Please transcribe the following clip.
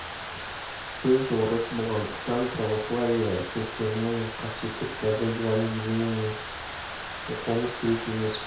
сіз орыс болғандықтан православие шіркеуінің қасиетті кітабы евангелиені оқуыңыз керек емес пе